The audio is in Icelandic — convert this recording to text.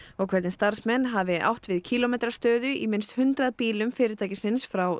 og hvernig starfsmenn hafi átt við kílómetrastöðu í minnst hundrað bílum fyrirtækisins frá